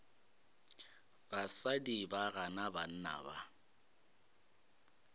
basadi ba gana banna ba